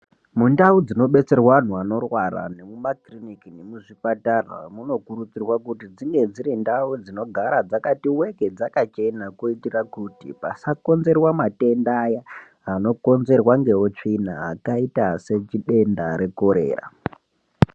Mundau dzino betserwa anhu anorwara nemu makiriniki nemu zvipatara muno kurudzirwa kuti dzinge dziri ndau dzino gara dzakati weke dzaka chena kuitira kuti pasa konzerwa matenda aya ano konzerwa nge utsvina akaita se chidenda re korera.